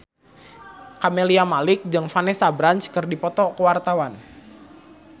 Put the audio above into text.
Camelia Malik jeung Vanessa Branch keur dipoto ku wartawan